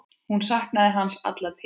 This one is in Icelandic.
Hún saknaði hans alla tíð.